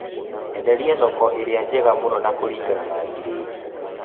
Enderia thoko ĩrĩa njega mũno na kũringana na giredi